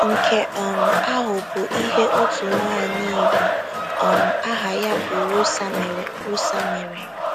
Nke um ahụ bụ ihe otu nwaanyị Igbo um aha ya bụ Rosa mere. Rosa mere.